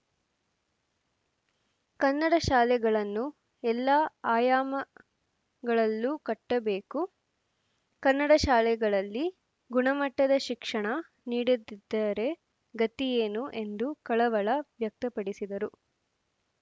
ಕನ್ನಡ ಶಾಲೆಗಳನ್ನು ಎಲ್ಲ ಆಯಾಮಗಳಲ್ಲೂ ಕಟ್ಟಬೇಕು ಕನ್ನಡ ಶಾಲೆಗಳಲ್ಲಿ ಗುಣಮಟ್ಟದ ಶಿಕ್ಷಣ ನೀಡದಿದ್ದರೆ ಗತಿಯೇನು ಎಂದು ಕಳವಳ ವ್ಯಕ್ತಪಡಿಸಿದರು